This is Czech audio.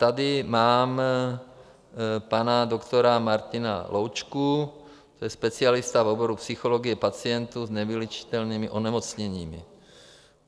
Tady mám pana doktora Martina Loučku, to je specialista v oboru psychologie pacientů s nevyléčitelnými onemocněními.